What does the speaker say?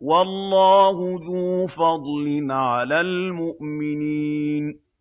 وَاللَّهُ ذُو فَضْلٍ عَلَى الْمُؤْمِنِينَ